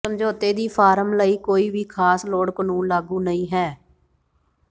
ਸਮਝੌਤੇ ਦੀ ਫਾਰਮ ਲਈ ਕੋਈ ਵੀ ਖਾਸ ਲੋੜ ਕਾਨੂੰਨ ਲਾਗੂ ਨਹੀ ਹੈ